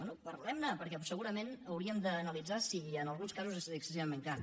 bé parlem ne perquè segurament hauríem d’analitzar si en alguns casos és excessivament car